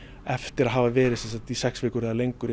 eftir að hafa verið í sex vikur eða lengur